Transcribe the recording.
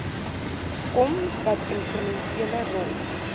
kom watinstrumentele rol